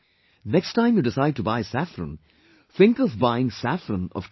Next time you decide to buy saffron, think of buying saffron from Kashmir